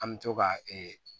An bɛ to ka ee